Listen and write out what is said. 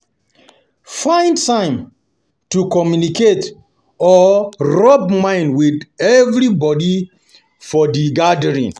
Find time to take communicate or rub mind with with everybody for di gathering